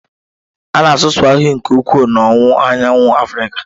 A na-asụ Swahili nke ukwuu n'Owuwu Anyanwụ Africa.